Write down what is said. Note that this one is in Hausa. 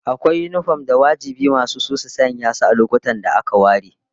Akwai yinifom da wajibi masu su su sanya su a lokutan da aka ware